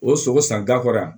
O sogo san da kɔrɔ yan